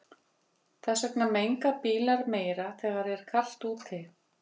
Þess vegna menga bílar meira þegar er kalt úti.